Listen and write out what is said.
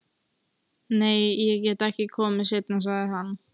Nei, ég get ekki komið seinna, sagði hann.